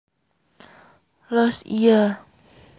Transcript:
Loos Iya